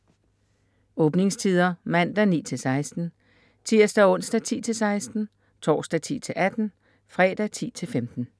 Åbningstider: Mandag: 9-16 Tirsdag - onsdag: 10-16 Torsdag: 10-18 Fredag: 10-15